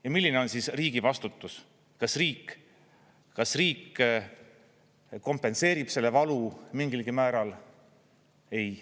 Ja milline on siis riigi vastutus, kas riik kompenseerib selle valu mingilgi määral?